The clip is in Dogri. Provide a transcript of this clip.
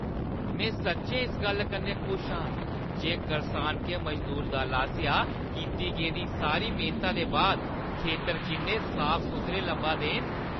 में सच्चैं इस गल्ला कन्नै खुश आं जे करसानके मजदूर दल आसेआ कीती गेदी सारी मेह्‌नता दे बाद खेतर किन्ने साफ-सुथरे लब्भा दे न।